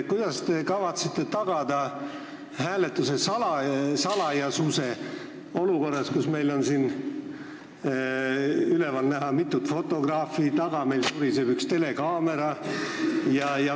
Kuidas te kavatsete tagada hääletuse salajasuse olukorras, kus meil on siin üleval näha mitut fotograafi ja meie taga suriseb üks telekaamera?